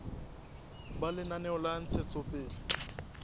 ba lenaneo la ntshetsopele ya